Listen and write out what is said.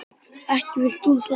Ekki vilt þú það?